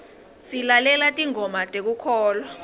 silalela tingoma tekukholwa